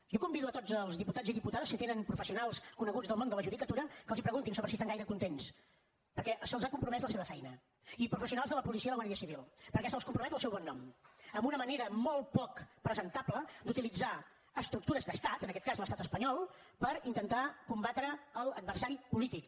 jo convido a tots els diputats i diputades si tenen professionals coneguts del món de la judicatura que els preguntin sobre si estan gaire contents perquè se’ls ha compromès la seva feina i professionals de la policia i la guàrdia civil perquè se’ls compromet el seu bon nom amb una mena molt poc presentable d’utilitzar estructures d’estat en aquest cas l’estat espanyol per intentar combatre l’adversari polític